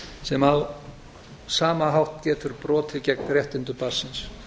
sem á sama hátt getur brotið gegn réttindum barnsins